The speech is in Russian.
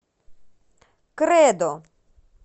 кредо